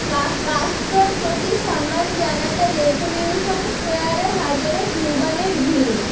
কাস্ত্রোর প্রতি সম্মান জানাতে রেভ্যুলিউশন স্কয়ারে হাজারো কিউবানের ভিড়